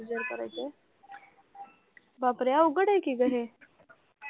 बापरे! अवघड आहे की गं हे?